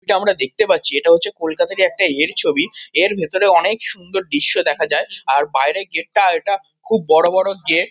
এটা আমরা দেখতে পাচ্ছি এটা হচ্ছে কলকাতারই একটা ইয়ের ছবি। এর ভেতরে অনেক সুন্দর দৃশ্য দেখা যায়। আর বাইরের গেট -টা এটা খুব বড়ো বড়ো গেট ।